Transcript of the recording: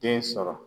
Den sɔrɔ